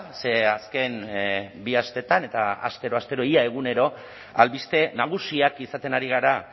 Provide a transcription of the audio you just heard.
ze azken bi asteetan eta astero astero ia egunero albiste nagusiak izaten ari gara